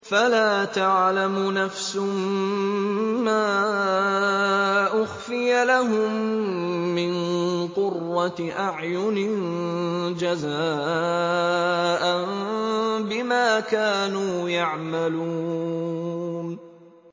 فَلَا تَعْلَمُ نَفْسٌ مَّا أُخْفِيَ لَهُم مِّن قُرَّةِ أَعْيُنٍ جَزَاءً بِمَا كَانُوا يَعْمَلُونَ